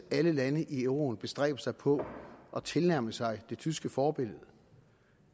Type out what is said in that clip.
alle lande i euroen bestræber sig på at tilnærme sig det tyske forbillede